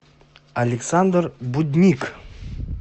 александр будник